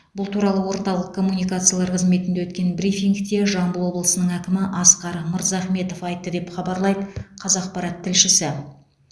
бұл туралы орталық коммуникациялар қызметінде өткен брифингте жамбыл облысының әкімі асқар мырзахметов айтты деп хабарлайды қазақпарат тілшісі